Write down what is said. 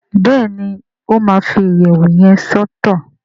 Béèni o ma fi iyẹwu yén ṣètò.